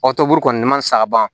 Ɔ tɔburu kɔni ma sa ban